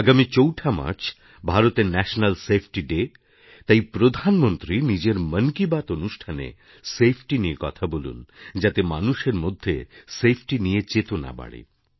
আগামী চৌঠা মার্চ ভারতের ন্যাশনাল সেফটি ডে তাইপ্রধানমন্ত্রী নিজের মন কি বাত অনুষ্ঠানে সেফটি নিয়ে কথা বলুন যাতে মানুষেরমধ্যে সেফটি নিয়ে চেতনা বাড়ে